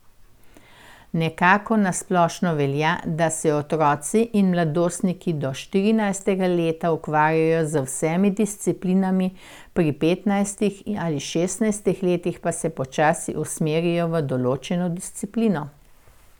Nekako na splošno velja, da se otroci in mladostniki do štirinajstega leta ukvarjajo z vsemi disciplinami, pri petnajstih ali šestnajstih letih pa se počasi usmerijo v določeno disciplino.